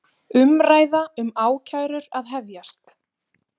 Umræða um ákærur að hefjast